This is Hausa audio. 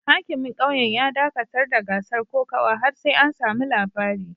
Hakimin kauyen ya dakatar da gasar kokawa har sai an samu labari